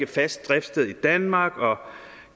fast driftssted i danmark og